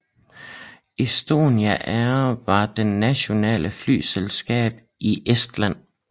Estonian Air var det nationale flyselskab i Estland